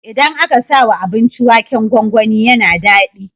Idan aka sawa abinci waken gwangwani yAna dadi